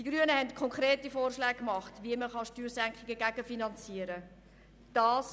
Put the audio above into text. Die Grünen haben konkrete Vorschläge gemacht, wie Steuersenkungen gegenfinanziert werden können.